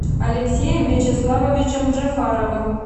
алексеем вячеславовичем джафаровым